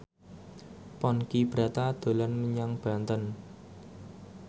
Ponky Brata dolan menyang Banten